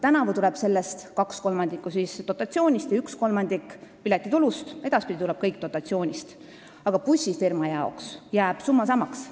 Tänavu tuleb kaks kolmandikku sellest dotatsioonist ja üks kolmandik piletitulust, edaspidi tuleb kõik dotatsioonist, aga bussifirma jaoks jääb summa samaks.